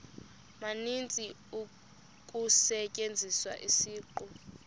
maninzi kusetyenziswa isiqu